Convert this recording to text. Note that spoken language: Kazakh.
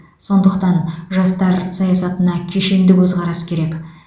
сондықтан жастар саясатына кешенді көзқарас керек